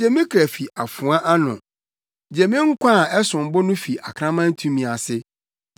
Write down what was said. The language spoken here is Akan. Gye me kra fi afoa ano; gye me nkwa a ɛsom bo no fi akraman tumi ase.